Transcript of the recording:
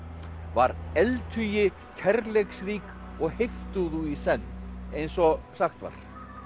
var eldhugi kærleiksrík og heiftúðug í senn eins og sagt var